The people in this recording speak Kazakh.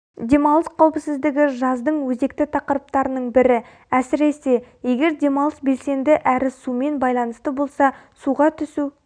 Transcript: демалыс қауіпсіздігі жаздың өзекті тақырыптарының бірі әсіресе егер демалыс белсенді әрі сумен байланысты болса суға түсу